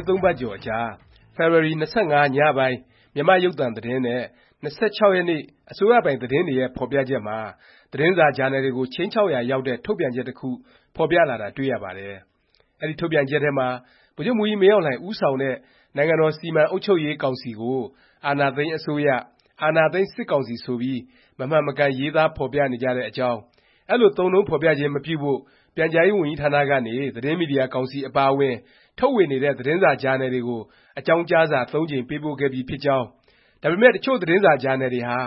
င်း ၃ ပတ်ကျော်အကြာ ဖေဖေါ်ဝါရီ ၂၅ ည ပိုင်း မြန်မာ့ရုပ်သံ သတင်းနဲ့ ဖေဖေါ်ဝါရီ ၂၆ အစိုးရပိုင် သတင်းတွေရဲ့ ဖော်ပြချက်မှာ သတင်းစာ၊ ဂျာနယ်တွေကို ခြိမ်းခြောက်ရာရောက်တဲ့ ထုတ်ပြန်ချက် တစ်ခု ဖော်ပြလာတာ တွေ့ရပါတယ်။ အဲဒီ ထုတ်ပြန်ချက်ထဲမှာ ဗိုလ်ချုပ်မှူးကြီး မင်းအောင်လှိုင် ဦးဆောင်တဲ့ နိုင်ငံတော် စီမံအုပ်ချုပ်ရေး ကောင်စီကို အာဏာသိမ်း အစိုးရ၊ အာဏာသိမ်း စစ်ကောင်စီ ဆိုပြီး မမှန်မကန် ရေးသားဖော်ပြနေကြတဲ့ အကြောင်း၊ အဲလို သုံးနှုန်းဖော်ပြခြင်း မပြုဖို့ ပြန်ကြားရေး ဝန်ကြီးဌာနကနေ သတင်းမီဒီယာ ကောင်စီ အပါအဝင် ထုတ်ဝေနေတဲ့ သတင်းစာ၊ ဂျာနယ်တွေကို အကြောင်းကြားစာ ၃ ကြိမ် ပေးပို့ခဲ့ပြီဖြစ်တဲ့အကြောင်း၊ ဒါပေမယ့် တစ်ချို့ သတင်းစာ၊ ဂျာနယ်တွေဟာ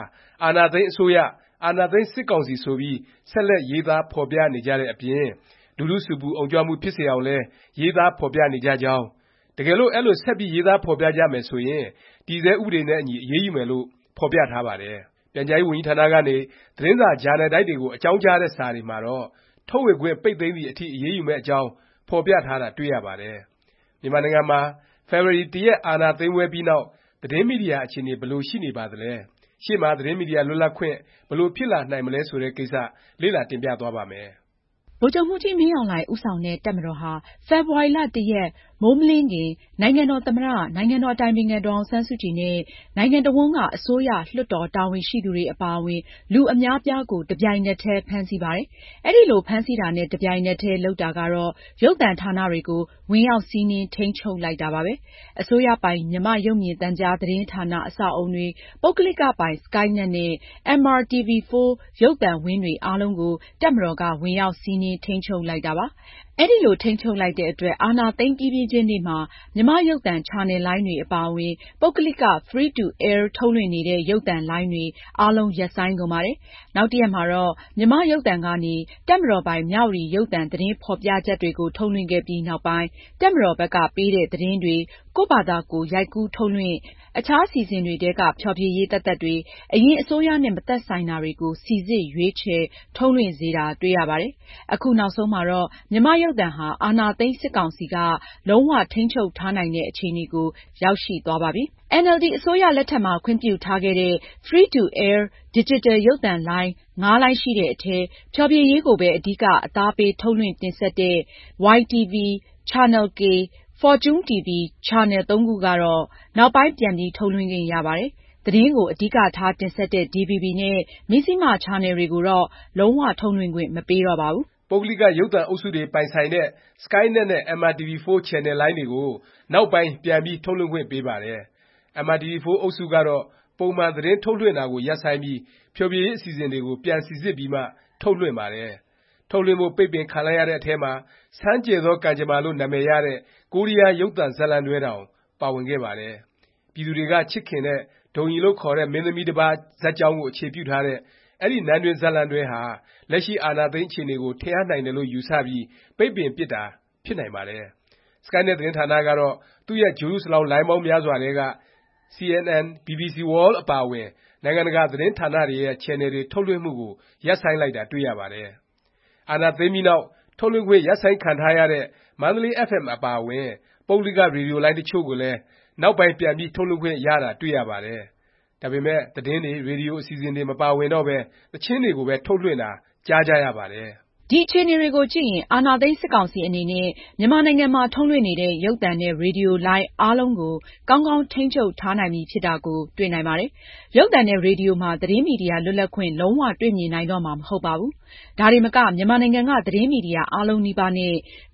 အာဏာသိမ်း အစိုးရ၊ အာဏာသိမ်း စစ်ကောင်စီ ဆိုပြီး ဆက်လက် ရေးသားဖော်ပြနေကြတဲ့ အပြင် လူထု ဆူပူအုံကြွမှု ဖြစ်စေအောင်လည်း ရေးသားဖော်ပြနေကြကြောင်း၊ တကယ်လို့ အဲလို ဆက်ပြီး ရေးသားဖော်ပြကြမယ် ဆိုရင် တည်ဆဲ ဥပဒေနဲ့အညီ အရေးယူမယ်လို့ ဖော်ပြထားပါတယ်။ ပြန်ကြားရေး ဝန်ကြီးဌာနကနေ သတင်းစာ၊ ဂျာနယ်တိုက်တွေကို အကြောင်းကြားတဲ့ စာတွေမှာတော့ ထုတ်ဝေခွင့် ပိတ်သိမ်းသည် အထိ အရေးယူမယ့်အကြောင်း ဖော်ပြထားတာ တွေ့ရပါတယ်။ မြန်မာနိုင်ငံမှာ ဖေဖေါ်ဝါရီ ၁ ရက် အာဏာသိမ်းပွဲပြီးနောက် သတင်းမီဒီယာ အခြေအနေ ဘယ်လို ရှိနေပါသလဲ၊ ရှေ့မှာ သတင်းမီဒီယာ လွတ်လပ်ခွင့် ဘယ်လို ဖြစ်လာနိုင်မလဲ ဆိုတဲ့ကိစ္စ လေ့လာ တင်ပြသွားပါ့မယ်။ ဗိုလ်ချုပ်မှူးကြီး မင်းအောင်လှိုင် ဦးဆောင်တဲ့ တပ်မတော်ဟာ ဖေဖော်ဝါရီ ၁ ရက် မိုးမလင်းခင် နိုင်ငံတော် သမ္မတ၊ နိုင်ငံတော် အတိုင်ပင်ခံ ဒေါ်အောင်ဆန်းစုကြည် နဲ့ နိုင်ငံတစ်ဝှမ်းက အစိုးရ၊ လွှတ်တော် တာဝန်ရှိသူတွေ အပါအဝင် လူအများအပြားကို တစ်ပြိုင်နက်တည်း ဖမ်းဆီးပါတယ်။ အဲဒီလို ဖမ်းဆီးတာနဲ့ တစ်ပြိုင်နက်တည်း လုပ်တာကတော့ ရုပ်သံဌာနတွေကို ဝင်ရောက် စီးနင်း ထိန်းချုပ် လိုက်တာပါပဲ။ အစိုးရပိုင် မြန်မာ့ရုပ်မြင်သံကြား သတင်းဌာန အဆောက်အဦတွေ၊ ပုဂ္ဂလိကပိုင် စကိုင်းနက်နဲ့ MRTV-4 ရုပ်သံဝင်းတွေ အားလုံးကို တပ်မတော်က ဝင်ရောက် စီးနင်း ထိန်းချုပ်လိုက်တာပါ။ အဲလို ထိန်းချုပ်လိုက်တဲ့အတွက် အာဏာသိမ်းပြီးပြီးချင်း နေ့မှာ မြန်မာ့ရုပ်သံ ချယ်နယ်လိုင်းတွေ အပါအဝင် ပုဂ္ဂလိက Free to Air ထုတ်လွှင့်နေတဲ့ ရုပ်သံလိုင်းတွေ အားလုံး ရပ်ဆိုင်းကုန်ပါတယ်။ နောက်ရက်မှာတော့ မြန်မာ့ရုပ်သံကနေ တပ်မတော်ပိုင် မြဝတီ ရုပ်သံ သတင်းဖော်ပြချက်တွေ ထုတ်လွှင့်ခဲ့ပြီး နောက်ပိုင်း တပ်မတော်ဘက်က ပေးတဲ့ သတင်းတွေ ကိုယ့်ဖာသာကိုယ် ရိုက်ကူးထုတ်လွှင့်၊ အခြား အစီအစဉ်တွေထဲက ဖျော်ဖြေရေး သက်သက်တွေ၊ အရင် အစိုးရနဲ့ မသက်ဆိုင်တာတွေကို စိစစ်ရွေးချယ် ထုတ်လွှင့်စေတာ တွေ့ရပါတယ်။ အခုနောက်ဆုံးမှာတော့ မြန်မာ့ရုပ်သံဟာ အာဏာသိမ်း စစ်ကောင်စီက လုံး၀ ထိန်းချုပ်ထားနိုင်တဲ့ အခြေအနေကို ရောက်ရှိသွားပါပြီ။ အင်န်အယ်လ်ဒီ အစိုးရလက်ထက်မှာ ခွင့်ပြုထားခဲ့တဲ့ Free to Air ဒီဂျစ်တယ် ရုပ်သံလိုင်း ၅ လိုင်းရှိတဲ့အထဲ ဖျော်ဖြေရေးကိုပဲ အဓိက အသားပေး ထုတ်လွှင့်တင်ဆက်တဲ့ YTV, Channel-K, Fortune TV ချယ်နယ် ၃ ခုကတော့ နောက်ပိုင်း ပြန်ပြီး ထုတ်လွှင့်ခွင့်ရပါတယ်။ သတင်းကို အဓိကထား တင်ဆက်တဲ့ DVB နဲ့ Mizzima ချယ်နယ်တွေကိုတော့ လုံး၀ ထုတ်လွှင့်ခွင့် မပေးတော့ပါဘူး။ ပုဂ္ဂလိက ရုပ်သံအုပ်စုတွေ ပိုင်ဆိုင်တဲ့ စကိုင်းနက်နဲ့ MRTV-4 ချယ်နယ်လိုင်းတွေကို နောက်ပိုင်း ပြန်ပြီး ထုတ်လွှင့်ခွင့် ပေးပါတယ်။ MRTV-4 အုပ်စုကတော့ ပုံမှန် သတင်းထုတ်လွှင့်တာကို ရပ်ဆိုင်းပြီး ဖျော်ဖြေရေး အစီအစဉ်တွေကို ပြန်စိစစ်ပြီးမှ ထုတ်လွှင့်ပါတယ်။ ထုတ်လွှင့်ဖို့ ပိတ်ပင်ခံလိုက်ရတဲ့ အထဲမှာ “ဆန်းကျယ်သော ကံကြမ္မာ” လို့နာမည်ရတဲ့ ကိုရီးယား ရုပ်သံဇာတ်လမ်းတွဲတောင် ပါဝင်ခဲ့ပါတယ်။ ပြည်သူတွေက ချစ်ခင်တဲ့ ဒုံရီလို့ ခေါ်တဲ့ မင်းသမီး တစ်ပါးဇာတ်ကြောင်းကို အခြေပြုထားတဲ့ အဲဒီ နန်းတွင်း ဇာတ်လမ်းတွဲဟာ လက်ရှိ အာဏာသိမ်း အခြေအနေကို ထင်ဟပ်နိုင်တယ်လို့ ယူဆပြီး ပိတ်ပင်ပြစ်တာ ဖြစ်နိုင်ပါတယ်။ စကိုင်းနက် သတင်းဌာနကတော့ သူ့ရဲ့ ဂြိုလ်တုစလောင်း လိုင်းပေါင်းများစွာထဲက CNN, BBC World အပါအဝင် နိုင်ငံတကာ သတင်းဌာနတွေရဲ့ ချယ်နယ်တွေ ထုတ်လွှင့်မှုကို ရပ်ဆိုင်းလိုက်တာ တွေ့ရပါတယ်။ အာဏာသိမ်းပြီးနောက် ထုတ်လွှင့်ခွင့် ရပ်ဆိုင်းခံထားရတဲ့ မန္တလေး FM အပါအဝင် ပုဂ္ဂလိက ရေဒီယိုလိုင်း တစ်ချို့လည်း နောက်ပိုင်း ပြန်ပြီး ထုတ်လွှင့်ခွင့်ရတာ တွေ့ရပါတယ်။ ဒါပေမယ့် သတင်းတွေ၊ ရေဒီယို အစီအစဉ်တွေ မပါဝင်တော့ပဲ သီချင်းတွေကိုပဲ ထုတ်လွှင့်တာ ကြားကြရပါတယ်။ ဒီ အခြေအနေတွေကိုကြည့်ရင် အာဏာသိမ်း စစ်ကောင်စီ အနေနဲ့ မြန်မာနိုင်ငံမှာ ထုတ်လွှင့်နေတဲ့ ရုပ်သံနဲ့ ရေဒီယိုလိုင်း အားလုံးကို ကောင်းကောင်း ထိန်းချုပ်ထားနိုင်ပြီ ဖြစ်တာကို တွေ့နိုင်ပါတယ်။ ရုပ်သံနဲ့ ရေဒီယိုမှာ သတင်းမီဒီယာ လွတ်လပ်ခွင့် လုံး၀ တွေ့မြင်နိုင်တော့မှာ မဟုတ်ပါဘူး။ ဒါတင်မက မြန်မာနိုင်ငံက သတင်းမီဒီယာ အားလုံးနီးပါး နဲ့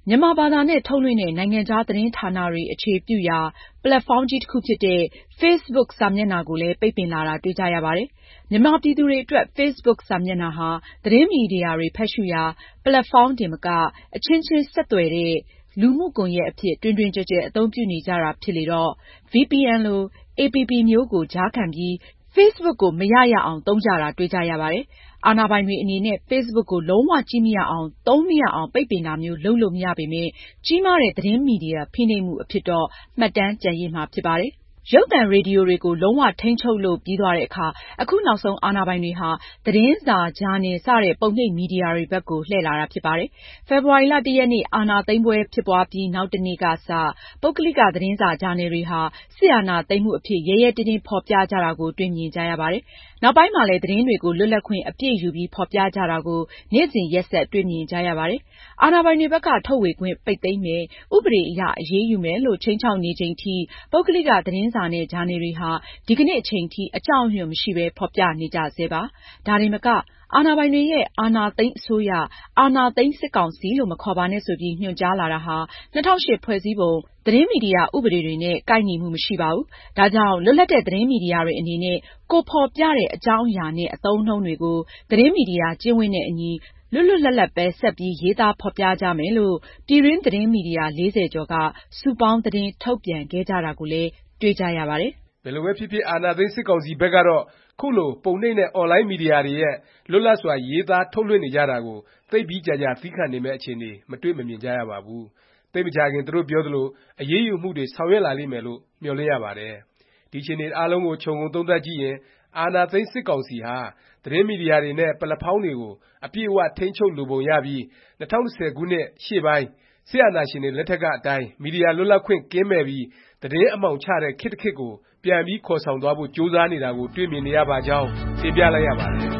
မြန်မာဘာသာ နဲ့ ထုတ်လွှင့်တဲ့ နိုင်ငံခြား သတင်းဌာနတွေ အခြေပြုရာ ပက်လက်ဖောင်းကြီး တစ်ခုဖြစ်တဲ့ Facebook စာမျက်နှာကိုလည်း ပိတ်ပင်လာတာ တွေ့ကြရပါတယ်။ မြန်မာပြည်သူတွေ အတွက် Facebook စာမျက်နှာဟာ သတင်းမီဒီယာတွေ ဖတ်ရှုရာ ပက်လက်ဖောင်းတင်မက အချင်းချင်း ဆက်သွယ်တဲ့ လူမှုကွန်ယက် အဖြစ် တွင်တွင်ကျယ်ကျယ် အသုံးပြုနေကြတာ ဖြစ်လေတော့ VPN လို APP မျိုးကို ကြားခံပြီး Facebook ကို မရ၊ အရ သုံးကြတာ တွေ့ကြရပါတယ်။ အာဏာပိုင်တွေ အနေနဲ့ Facebook ကို လုံး၀ ကြည့်မရအောင်၊ သုံးမရအောင် ပိတ်ပင်တာမျိုး လုပ်လို့ မရပေမယ့် ကြီးမားတဲ့ သတင်းမီဒီယာ ဖိနှိပ်မှု အဖြစ်တော့ မှတ်တမ်း ကျန်ရစ်မှာ ဖြစ်ပါတယ်။ ရုပ်သံ၊ ရေဒီယိုတွေကို လုံး၀ ထိန်းချုပ်လို့ ပြီးသွားတဲ့အခါ အခုနောက်ဆုံး အာဏာပိုင်တွေဟာ သတင်းစာ၊ ဂျာနယ် စတဲ့ ပုံနှိပ်မီဒီယာတွေဖက်ကို လှည့်လာတာ ဖြစ်ပါတယ်။ ဖေဖေါ်ဝါရီ ၁ ရက်နေ့ အာဏာသိမ်းပွဲ ဖြစ်ပွားပြီး နောက်တစ်နေ့ကစ ပုဂ္ဂလိက သတင်းစာ၊ ဂျာနယ်တွေဟာ စစ်အာဏာသိမ်းမှု အဖြစ် ရဲရဲတင်းတင်း ဖော်ပြကြတာကို တွေ့မြင်ကြရပါတယ်။ နောက်ပိုင်းလည်း သတင်းတွေကို လွတ်လပ်ခွင့် အပြည့်ယူပြီး ဖော်ပြကြတာကို နေ့စဉ်ရက်ဆက် တွေ့မြင်ကြရပါတယ်။ အာဏာပိုင်တွေဘက်က ထုတ်ဝေခွင့် ပိတ်သိမ်းမယ်၊ ဥပဒေအရ အရေးယူမယ်လို့ ခြိမ်းခြောက်နေချိန်အထိ ပုဂ္ဂလိက သတင်းစာနဲ့ ဂျာနယ်တွေဟာ ဒီကနေ့ အချိန်ထိ အကြောက်အရွံ့ မရှိပဲ ဖော်ပြနေကြဆဲပါ။ ဒါတင်မက အာဏာပိုင်တွေရဲ့ အာဏာသိမ်းအစိုးရ၊ အာဏာသိမ်း စစ်ကောင်စီလို့ မခေါ်ပါနဲ့ ဆိုပြီး ညွှန်ကြားလာတာဟာ ၂၀၀၈ ဖွဲ့စည်းပုံ၊ သတင်းမီဒီယာ ဥပဒေတွေနဲ့ ကိုက်ညီမှုမရှိဘူး၊ ဒါကြောင့် လွတ်လပ်တဲ့ သတင်းမီဒီယာတွေ အနေနဲ့ ကိုယ်ဖော်ပြတဲ့ အကြောင်းအရာနဲ့ အသုံးအနှုန်းတွေကို သတင်းမီဒီယာ ကျင့်ဝတ်နဲ့အညီ လွတ်လွတ်လပ်လပ်ပဲ ဆက်ပြီး ရေးသားဖော်ကြမယ်လို့ ပြည်တွင်း သတင်းမီဒီယာ ၄၀ ကျော်က စုပေါင်း သတင်းထုတ်ပြန်ခဲ့ကြတာကိုလည်း တွေ့ကြရပါတယ်။ ဘယ်လိုပဲဖြစ်ဖြစ် အာဏာသိမ်းစစ်ကောင်စီ ဘက်ကတော့ ခုလို ပုံနှိပ်နဲ့ အွန်လိုင်း မီဒီယာတွေရဲ့ လွတ်လပ်စွာ ရေးသား ထုတ်လွှင့်နေကြတာကို သိပ်ပြီးကြာကြာ သီးခံနေမယ့် အခြေအနေ မတွေ့မမြင်ကြရပါဘူး။ သိပ်မကြာခင် သူတို့ ပြောသလို အရေးယူမှုတွေ ဆောင်ရွက်လာလိမ့်မယ်လို့ မျှော်လင့်ရပါတယ်။ ဒီ အခြေအနေတွေအားလုံးကို ခြုံငုံသုံးသပ်ကြည့်ရင် အာဏာသိမ်း စစ်ကောင်စီဟာ သတင်းမီဒီယာတွေနဲ့ ပက်လက်ဖောင်းတွေကို အပြည့်အ၀ ထိန်းချုပ်လိုပုံရပြီး ၂၀၁၀ ခုနှစ် ရှေ့ပိုင်း စစ်အာဏာရှင်တွေ လက်ထက်က အတိုင်း မီဒီယာ လွတ်လပ်ခွင့် ကင်းမဲ့ပြီး သတင်းအမှောင်ချတဲ့ ခေတ်တစ်ခေတ်ကို ပြန်ပြီး ခေါ်ဆောင်သွားဖို့ ကြိုးစားနေတာကို တွေ့မြင်နေရပါကြောင်း တင်ပြလိုက်ရပါတယ်